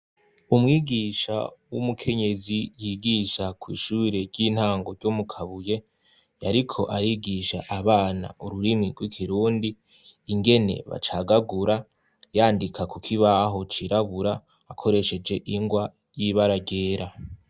Umwigisha w'umukenyezi yigisha kw'ishure ry'intango ryo mu Kabuye, yariko arigisha abana ururimi rw'ikirundi, ingene bacagagura, yandika ku kibaho cirabura, akoresheje ingwa y'ibara ryera.